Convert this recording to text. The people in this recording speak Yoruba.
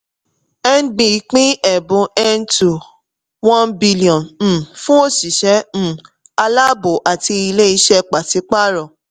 nb pín ẹ̀bùn n2.1 billion um fún òṣìṣẹ́ um aláàbò àti ilé-iṣẹ́ pàsí-pààrọ̀.